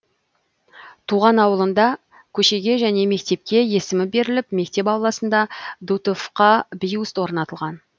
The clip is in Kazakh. туған ауылында көшеге және мектепке есімі беріліп мектеп ауласында дутовқа бюст орнатылған